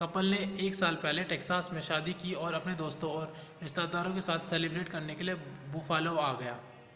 couple ने एक साल पहले टैक्सास में शादी की और अपने दोस्तों और रिश्तेदारों के साथ सेलिब्रेट करने के लिए बुफ़ालो आ गए